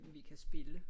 vi kan spille